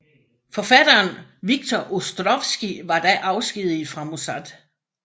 Forfatteren Victor Ostrovsky var da afskediget fra Mossad